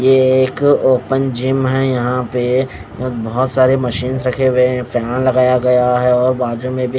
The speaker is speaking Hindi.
ये एक ओपन जिम है यहाँ पे बहुतसारे मशीन्स रखे हुए है फैन लगाया गया है और बाजु में भी--